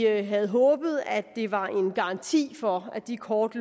havde håbet at det var en garanti for at de kort